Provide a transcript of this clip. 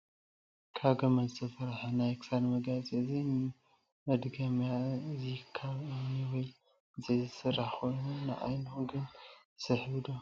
ካብ መድገመርያ ዝተሰርሐ ናይ ክሳድ መጋየፂ እዩ:: እዚ መድገምያ እዚካብ እምኒ ወይ ዕንፀይቲ ዝስራሕ ኮይኑ ንዓይንኩም ግን ይስሕብ ዶ ?